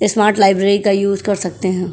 Smart library का use कर सकते हैं।